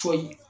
So in